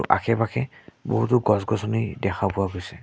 আশে-পাশে বহুতো গছ-গছনি দেখা পোৱা গৈছে।